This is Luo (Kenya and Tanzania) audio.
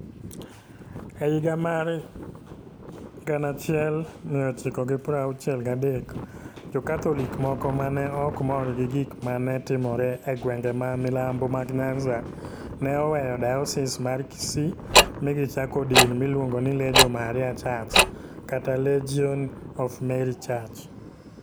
E higa mar 1963, Jo-Katholik moko ma ne ok mor gi gik ma ne timore e gwenge ma milambo mag Nyanza ne oweyo Diocese mar Kisii mi gichako din miluongo ni Legio Maria Church, kata Legion of Mary Church,